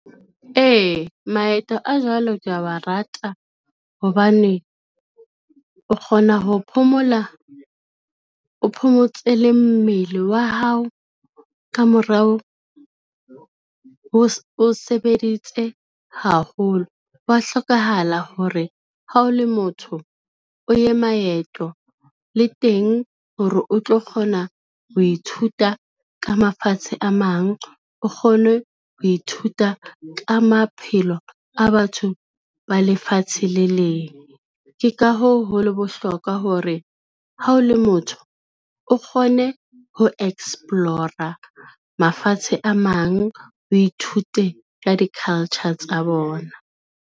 Ee, maeto a jwalo ke a wa rata hobane, o kgona ho phomola, o phomotse le mmele wa hao ka morao o sebeditse haholo. Hwa hlokahala hore ha o le motho o ye maeto le teng hore o tlo kgona ho ithuta ka mafatshe a mang, o kgone ho ithuta ka maphelo a batho ba lefatshe le leng. Ke ka hoo, ho leng bohlokwa hore ha o le motho o kgone ho explore-a mafatshe a mang, o ithute ka di-culture tsa bona.